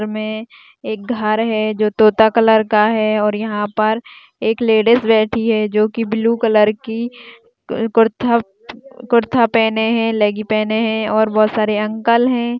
इसमें एक घर है जो तोता कलर का है और यहां पर एक लेडिस बैठी है जो की ब्लू कलर की कुर्ता कुर्ता पहने है लेग्गिंग पहने है और बहुत सारे अंकल है।